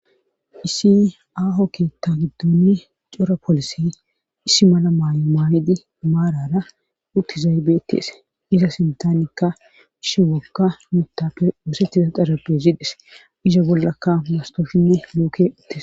Issi aaho keetta giddonni cora polise issi mala maayo maayidi maarara uttizaybetees iza sintanikka ishi wokka mitape woosetiza xarabe ziides iza bollakka mastoshinne louke ittes.